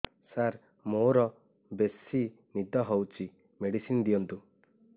ସାର ମୋରୋ ବେସି ନିଦ ହଉଚି ମେଡିସିନ ଦିଅନ୍ତୁ